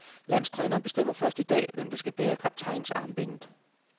Landstræneren bestemmer først i dag, hvem der skal bære kaptajnarmbindet.